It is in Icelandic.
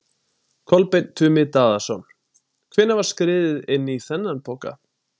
Kolbeinn Tumi Daðason: Hvenær var skriðið inn í þennan poka?